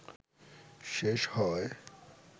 শেষ হওয়ায়